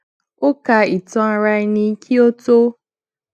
ó ka ìtàn ara ẹni kí ó tó